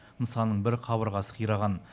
нысанның бір қабырғасы қираған